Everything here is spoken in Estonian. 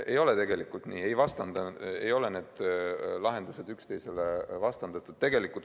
Ei ole tegelikult nii, ei ole need lahendused üksteisele vastandatud.